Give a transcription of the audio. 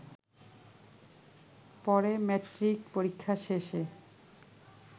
পরে ম্যাট্রিক পরীক্ষা শেষে